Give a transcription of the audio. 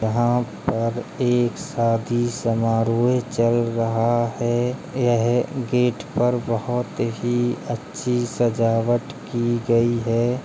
यहां पर एक शादी समारोह चल रहा है| यह गेट पर बहोत ही अच्छी सजावट की गई है।